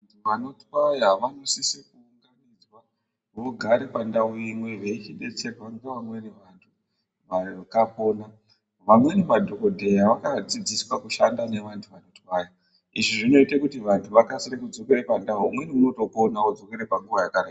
Vanotwaya vanosise kugara pandau imwe veichibetserwa ngevamweni vakapona. Amweni madhogodheya akadzidziswa kushanda nevantu vanotwaya. Izvi zvinoita kuti vantu vakasike kudzokera pandau, umwenipona odzokere panguva yekareyo.